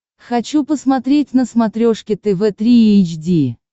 хочу посмотреть на смотрешке тв три эйч ди